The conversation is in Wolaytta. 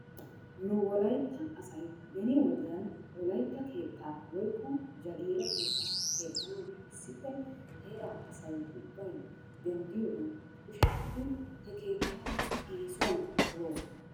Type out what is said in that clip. Nu wolaytta asay beni wodiyan wolaytta keettaa woykko jagiira keettaa keexxanawu issippe heeraa asay ubbay denddiyoogan kushettidi he keettaa eesuwan poloosona.